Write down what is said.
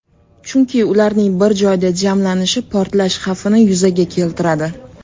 Chunki ularning bir joyda jamlanishi portlash xavfini yuzaga keltiradi.